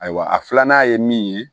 Ayiwa a filanan ye min ye